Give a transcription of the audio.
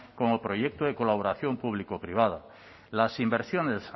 como proyecto de colaboración público privada las inversiones